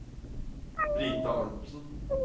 Brita Arntsen